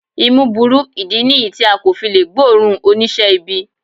Imú burú, ìdí nìyí tí a kò fi lè gbóòórùn oníṣẹ́ ibi